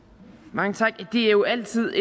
mange tak det er jo altid